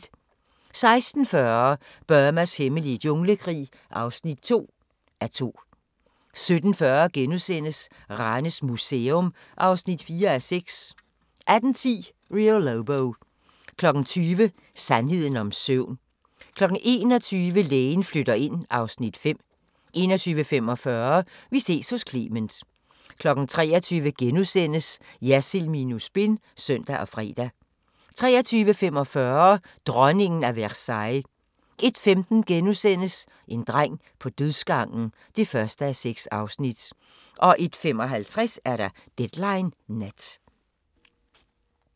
16:40: Burmas hemmelige junglekrig (2:2) 17:40: Ranes Museum (4:6)* 18:10: Rio Lobo 20:00: Sandheden om søvn 21:00: Lægen flytter ind (Afs. 5) 21:45: Vi ses hos Clement 23:00: Jersild minus spin *(søn og fre) 23:45: Dronningen af Versailles 01:15: En dreng på dødsgangen (1:6)* 01:55: Deadline Nat